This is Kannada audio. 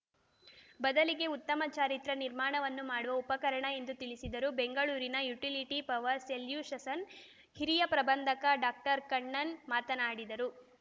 ಬದಲಿಗೆ ಉತ್ತಮ ಚಾರಿತ್ರ್ಯ ನಿರ್ಮಾಣವನ್ನು ಮಾಡುವ ಉಪಕರಣ ಎಂದು ತಿಳಿಸಿದರು ಬೆಂಗಳೂರಿನ ಯುಟಿಲಿಟಿ ಪವರ್ ಸೊಲ್ಯುಷಸ್ಸನ್ ಹಿರಿಯ ಪ್ರಬಂಧಕ ಡಾಕ್ಟರ್ ಕಣ್ಣನ್ ಮಾತನಾಡಿದರು